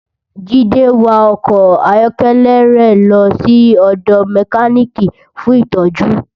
Jide n wá òkò áyòkèlè rè lò si òdò mèkánikí fún itòjú